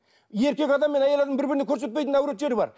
еркек адам мен әйел адамның бір біріне көрсетпейтін әурет жері бар